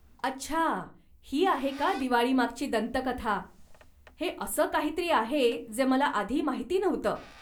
अच्छा, ही आहे का दिवाळी मागची दंतकथा. हे असं काहीतरी आहे जे मला आधी माहिती नव्हतं.